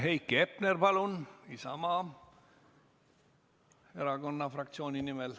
Heiki Hepner Isamaa Erakonna fraktsiooni nimel.